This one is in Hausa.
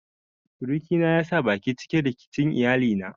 Surukina ya sa baki cikin rikicin iyalina.